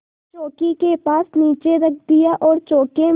चौकी के पास नीचे रख दिया और चौके में